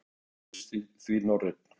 Uppruninn virðist því norrænn.